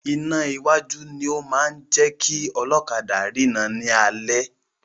Iná iwájú ni o máa ń jẹ́ kí ọlọ́kadà rina ni alẹ́.